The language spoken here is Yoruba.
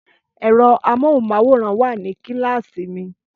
Ẹ̀rọ amóhùnmáwòrán wà ní kíláàsìmi